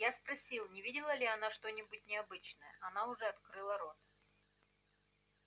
я спросил не видела ли она что-нибудь необычное она уже открыла рот